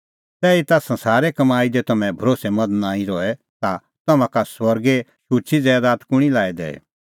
तैहीता संसारे कमाई दी तम्हैं भरोस्सैमंद नांईं रहे ता तम्हां का स्वर्गो शुची ज़ैदात कुंणी लाई दैई